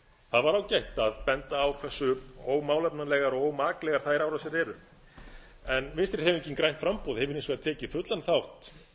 var ágætt að benda á hversu ómálefnalegar og ómaklegar þær árásir eru en vinstri hreyfingin grænt framboð hefur hins vegar tekið fullan þátt